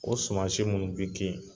O suma si ninnu bi ki